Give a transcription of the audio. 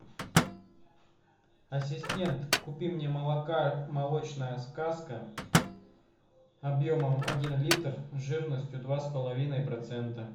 ассистент купи мне молока молочная сказка объемом один литр жирностью два с половиной процента